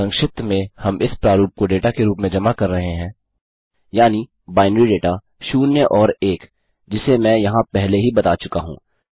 संक्षिप्त में हम इस प्रारूप को डेटा के रूप में जमा कर रहे हैं यानि बाइनरी दाता शून्य और एक जिसे मैं यहाँ पहले ही बता चुका हूँ